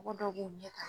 Mɔgɔ dɔw b'u ɲɛ ka